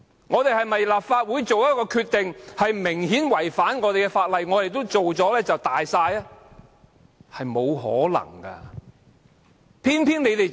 難道當立法會作出的決定明顯違反法例時，我們也可以"大晒"般去執行呢？